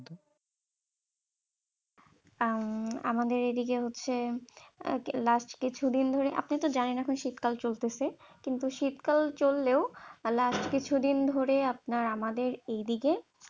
আহ আমাদের এইদিকে হচ্ছে last কিছুদিন ধরে, আপনি তো জানেন এখন শীতকাল চলতেছে কিন্তু শীতকাল চললেও last কিছুদিন ধরে আপনার আমাদের এইদিকে